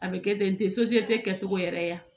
A bɛ kɛ ten n tɛ kɛcogo yɛrɛ ye yan